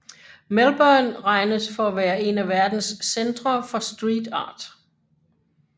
Melbourne regnes for at være en af verdens centre for street art